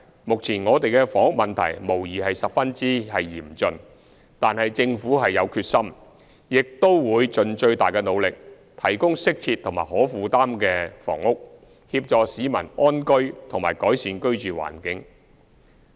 目前我們的房屋問題無疑是十分嚴峻，但政府有決心，亦都會盡最大努力，提供適切和可負擔的房屋，協助市民安居和改善居住環境。